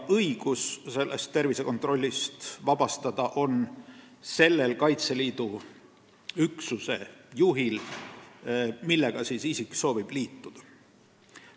Õigus tervisekontrollist vabastada on selle Kaitseliidu üksuse juhil, millega isik soovib liituda.